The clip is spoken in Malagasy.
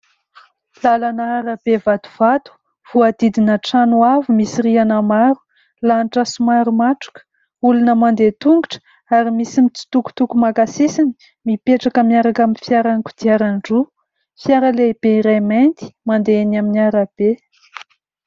Lalana arabe vatovato voadidina trano avo misy rihana maro, lanitra somary matroka, olona mandeha tongotra ary misy mitsotokotoko maka sisiny mipetraka miaraka amin'ny fiara kodiaran-droa, fiara lehibe iray mainty mandeha amin'ny arabe.